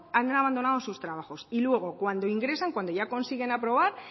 han abandonado sus trabajos y luego cuando ingresan cuando ya consiguen aprobar